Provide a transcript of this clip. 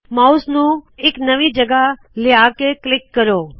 mouse ਨੂ ਇਕ ਨਵੀ ਜਗਹ ਲਿਹਾ ਕੇ ਕਲਿੱਕ ਕਰੋ